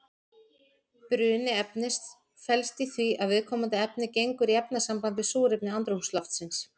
Bruni efnis felst í því að viðkomandi efni gengur í efnasamband við súrefni andrúmsloftsins.